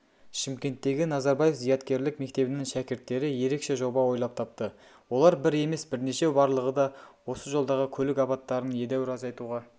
шымкенттегі назарбаев зияткерлік мектебінің шәкірттері ерекше жоба ойлап тапты олар бір емес бірнешеу барлығы да осы жолдағы көлік апаттарын едеуір азайтуға